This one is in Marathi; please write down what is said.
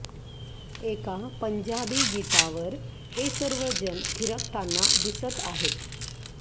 एका पंजाबी गीतावर हे सर्व जण थिरकतांना दिसत आहेत